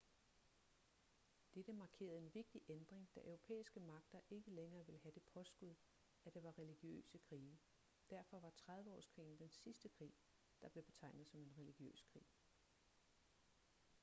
dette markerede en vigtig ændring da europæiske magter ikke længere ville have det påskud at det var religiøse krige derfor var trediveårskrigen den sidste krig der blev betegnet som en religiøs krig